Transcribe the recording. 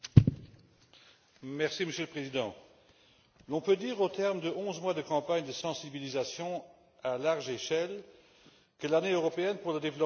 Monsieur le Président, on peut dire, au terme de onze mois de campagne de sensibilisation à grande échelle, que l'Année européenne pour le développement a été une réussite.